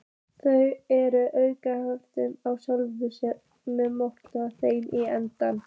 Þar að auki hafði hann sjálfur mokað þeim í eldinn.